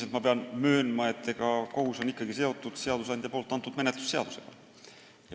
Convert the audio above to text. Üldiselt pean möönma, et kohus on ikkagi seotud seadusandja ette kirjutatud menetlusseadusega.